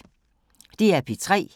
DR P3